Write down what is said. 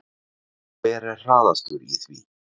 Hver er harðastur í því?